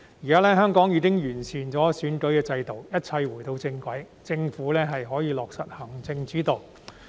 現時，香港已經完善選舉制度，一切回到正軌，政府可以落實行政主導。